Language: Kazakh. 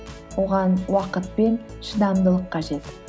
оған уақыт пен шыдамдылық қажет